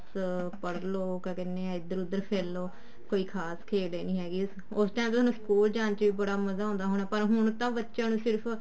ਬੱਸ ਪੜ੍ਹਲੋ ਕਿਆ ਕਹਿਨੇ ਆ ਇੱਧਰ ਉੱਧਰ ਫਿਰ ਲੋ ਕੋਈ ਖਾਸ ਖੇਡ ਏ ਨੀ ਹੈਗੀ ਉਸ time ਥੋਨੂੰ ਸਕੂਲ ਜਾਂ ਚ ਬੜਾ ਮਜ਼ਾ ਆਉਂਦਾ ਹੋਣਾ ਪਰ ਹੁਣ ਤਾਂ ਬੱਚਿਆਂ ਨੂੰ ਸਿਰਫ